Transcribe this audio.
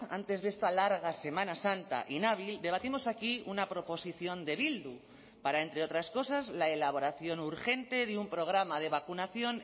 antes de esta larga semana santa inhábil debatimos aquí una proposición de bildu para entre otras cosas la elaboración urgente de un programa de vacunación